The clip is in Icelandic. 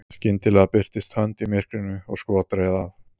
skyndilega birtist hönd í myrkrinu og skot reið af